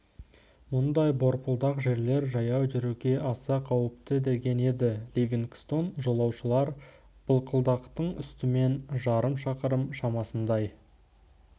мұндай борпылдақ жерлер жаяу жүруге аса қауіпті деген еді ливингстон жолаушылар былқылдақтың үстімен жарым шақырым шамасындай